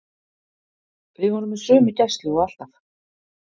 Við vorum með sömu gæslu og alltaf.